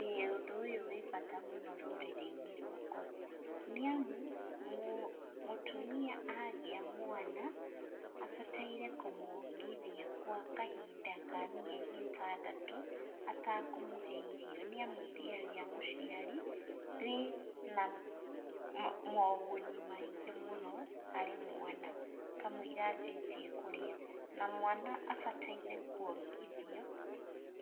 ĩĩ ũndũ ũyũ wĩ bata mũno rũrĩrĩ-inĩ rwakwa, nĩ amu mũ mũtumia agĩa mwana abataire kũmwongithia kwa kahinda ka mieri ĩtandatũ, ata kũmũhe irio nĩ amu iria rĩa mũciari rĩ na moguni maingĩ mũno harĩ mwana kamuira anjĩtie kũrĩa, na mwana abataire kwongithio